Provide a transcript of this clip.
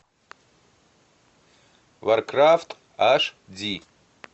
варкрафт аш ди